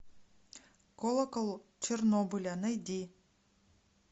колокол чернобыля найди